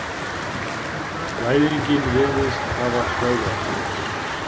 Blæðingin virðist hafa stöðvast.